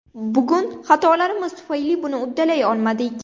Bugun xatolarimiz tufayli buni uddalay olmadik.